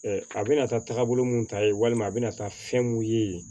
a bɛna taa taagabolo mun ta ye walima a bɛna taa fɛn mun ye